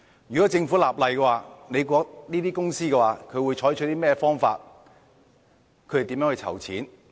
如果政府立例，這些公司會採取甚麼方法籌錢呢？